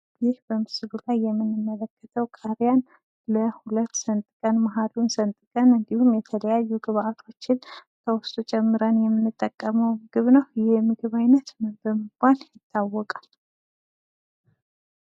ይህ በምስሉ ላይ የምንመለከተው ቃሪያ ለሁለት ሰንጠቀን መሃሉን ሰንጥቀን እንዲሁም የተለያዩ ግብዓቶችን ከውስጡ ጨመረን የምንጠቀመው ምግብ ነው። ይህ የምግብ ዓይነት ምን በመባል ይታወቃል?